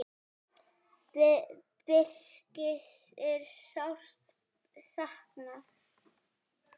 Birgis er sárt saknað.